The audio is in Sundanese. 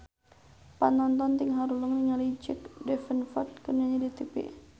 Panonton ting haruleng ningali Jack Davenport keur nyanyi di tipi